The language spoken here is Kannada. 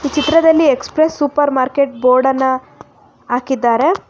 ಈ ಚಿತ್ರದಲ್ಲಿ ಎಕ್ಸ್ಪ್ರೆಸ್ ಸೂಪರ್ ಮಾರ್ಕೆಟ್ ಬೋರ್ಡನ್ನ ಹಾಕಿದ್ದಾರೆ.